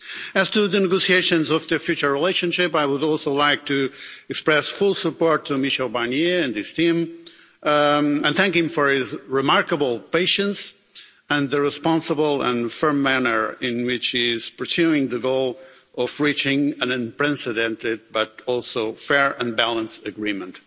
As to the negotiations of the future relationship, I would also like to express full support to Michel Barnier and his team, and thank him for his remarkable patience and the responsible and firm manner in which he is pursuing the goal of reaching an unprecedented, but also fair and balanced agreement.